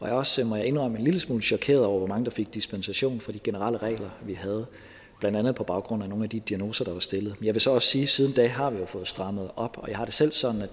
jeg også må jeg indrømme en lille smule chokeret over hvor mange der fik dispensation fra de generelle regler vi havde blandt andet på baggrund af nogle af de diagnoser der var stillet jeg vil så også sige at siden da har vi fået strammet op og jeg har det selv sådan at